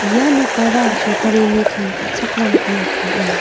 ia nokara sorkarini kam ka·chakram biap ong·a.